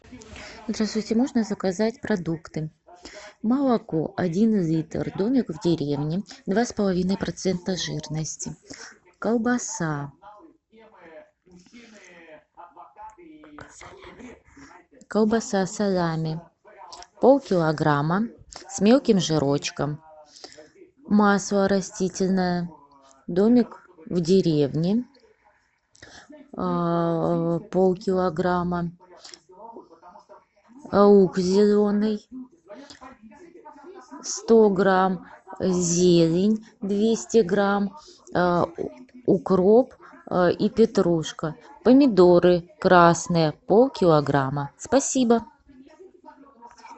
здравствуйте можно заказать продукты молоко один литр домик в деревне два с половиной процента жирности колбаса салями полкилограмма с мелким жирочком масло растительное домик в деревне полкилограмма лук зеленый сто грамм зелень двести грамм укроп и петрушка помидоры красные полкилограмма спасибо